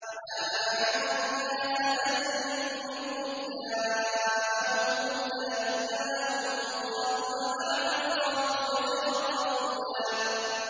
وَمَا مَنَعَ النَّاسَ أَن يُؤْمِنُوا إِذْ جَاءَهُمُ الْهُدَىٰ إِلَّا أَن قَالُوا أَبَعَثَ اللَّهُ بَشَرًا رَّسُولًا